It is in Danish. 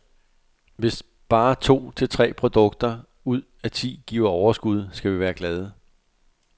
Hvis bare to til tre produkter ud af ti giver overskud, skal vi være glade.